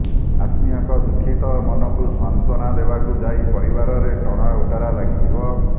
ଆତ୍ମୀୟଙ୍କ ଦୁଃଖିତ ମନକୁ ସାନ୍ତ୍ୱନା ଦେବାକୁ ଯାଇ ପରିବାରରେ ଟଣା ଓଟରା ଲାଗିଯିବ